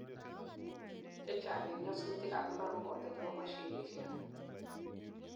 chechang en nyasutik ab impar koboto chebo mashinisiek